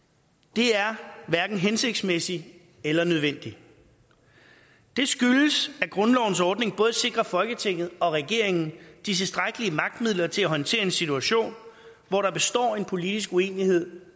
det er hverken hensigtsmæssigt eller nødvendigt det skyldes at grundlovens ordning både sikrer folketinget og regeringen de tilstrækkelige magtmidler til at håndtere en situation hvor der består en politisk uenighed